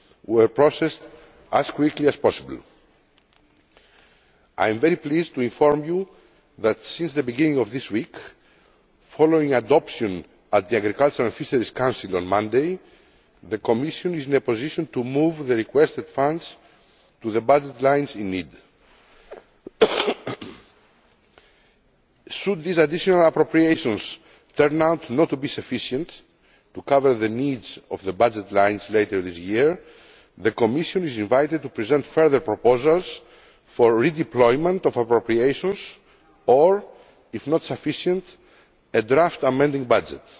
were processed as quickly as possible. I am very pleased to inform you that, since the beginning of this week, following adoption at the Agriculture and Fisheries Council on Monday, the Commission is in a position to move the requested funds to the budget lines in need. Should these additional appropriations turn out not to be sufficient to cover the needs of the budget lines later this year, the Commission is invited to present further proposals for redeployment of appropriations or, if not sufficient, a draft amending budget.